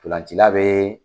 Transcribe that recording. Ntolancila be